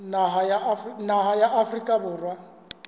naha ya afrika borwa kapa